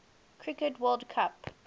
cricket world cup